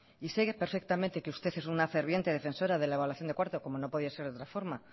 y sé que perfectamente que usted es una ferviente defensora de la evaluación de cuarto como no podía ser de otra forma